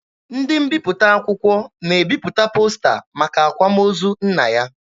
Ndị mbiputa akwụkwọ na-ebipụta posta maka akwamozu nna ya.